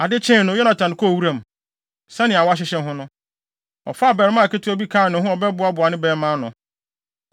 Ade kyee no, Yonatan kɔɔ wuram. Sɛnea wɔahyehyɛ ho no. Ɔfaa abarimaa ketewa bi kaa ne ho a ɔbɛboaboa ne bɛmma ano.